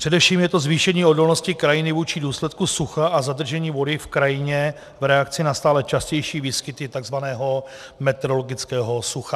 Především je to zvýšení odolnosti krajiny vůči důsledkům sucha a zadržení vody v krajině v reakci na stále častější výskyty tzv. metrologického sucha.